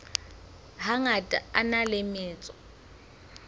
hangata a na le metso